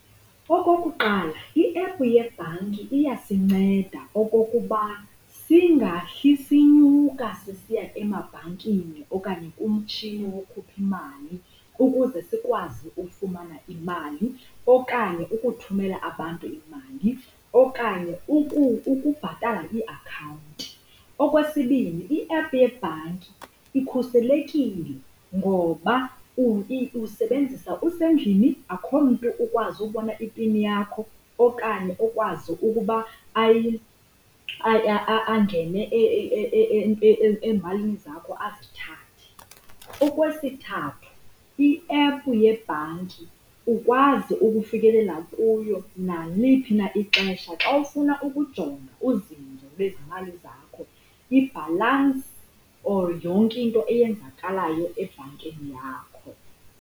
Okokuqala, iephu yebhanki iyasinceda okokuba singahli sinyuka sisiya emabhankini okanye kumtshini wokhupha imali ukuze sikwazi ukufumana imali, okanye ukuthumela abantu imali, okanye ukubhatala iiakhawunti. Okwesibini, iephu yebhanki ikhuselekile ngoba usebenzisa usendlini, akhomntu ukwazi ukubona ipini yakho okanye okwazi ukuba angene ezimalini zakho azithathe. Okwesithathu, iephu yebhanki ukwazi ukufikelela kuyo naliphi na ixesha xa ufuna ukujonga uzinzo lwezimali zakho, ibhalansi or yonke into eyenzakalayo ebhankini yakho.